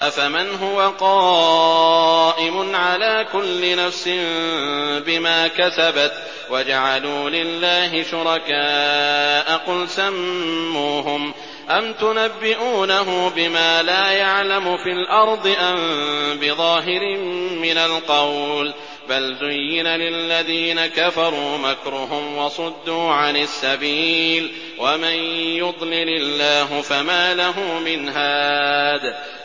أَفَمَنْ هُوَ قَائِمٌ عَلَىٰ كُلِّ نَفْسٍ بِمَا كَسَبَتْ ۗ وَجَعَلُوا لِلَّهِ شُرَكَاءَ قُلْ سَمُّوهُمْ ۚ أَمْ تُنَبِّئُونَهُ بِمَا لَا يَعْلَمُ فِي الْأَرْضِ أَم بِظَاهِرٍ مِّنَ الْقَوْلِ ۗ بَلْ زُيِّنَ لِلَّذِينَ كَفَرُوا مَكْرُهُمْ وَصُدُّوا عَنِ السَّبِيلِ ۗ وَمَن يُضْلِلِ اللَّهُ فَمَا لَهُ مِنْ هَادٍ